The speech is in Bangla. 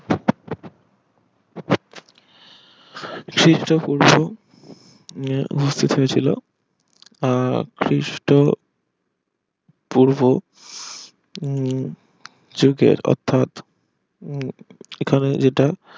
খ্রিস্টপূর্ব উহ বুঝতে পেরেছিল আহ খ্রিস্ট পূর্ব উম যুগের অর্থাৎ উম এখানে যেটা